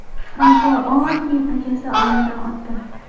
Fransua Ollandning akasi olamdan o‘tdi.